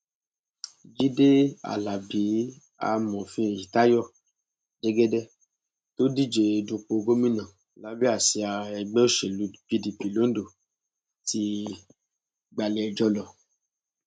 jíde alábi amọfin eyitayo jẹgẹdẹ tó díje dupò gómìnà lábẹ àsíá ẹgbẹ òṣèlú pdp londo ti gbalé ẹjọ lọ